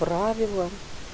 правила